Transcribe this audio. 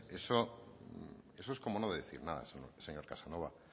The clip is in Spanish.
eso es como no decir nada señor casanova